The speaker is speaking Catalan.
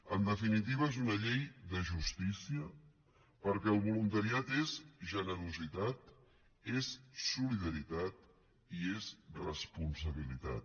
en definitiva és una llei de justícia perquè el voluntariat és generositat és solidaritat i és responsabilitat